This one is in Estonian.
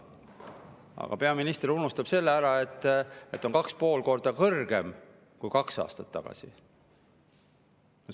Aga peaminister unustab ära selle, et see on 2,5 korda kõrgem kui kaks aastat tagasi.